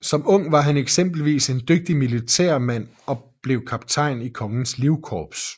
Som ung var han eksempelvis en dygtig militærmand og blev kaptajn i Kongens Livkorps